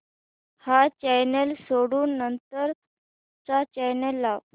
हा चॅनल सोडून नंतर चा चॅनल लाव